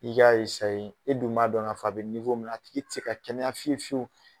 I k'a e dun m'a dɔn k'a fɔ a bɛ min na a tigi tɛ ka kɛnɛya fiyewu fiyewu